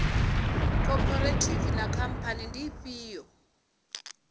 khophorethivi na khamphani ndi ifhio